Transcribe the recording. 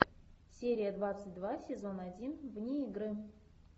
серия двадцать два сезон один вне игры